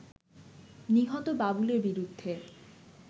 নিহত বাবুলের বিরুদ্ধে